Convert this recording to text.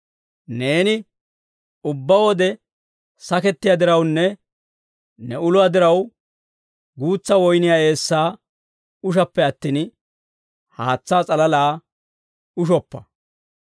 Neeni ubbaa wode sakettiyaa dirawunne ne uluwaa diraw, guutsa woyniyaa eessaa ushappe attin, haatsaa s'alalaa ushoppa.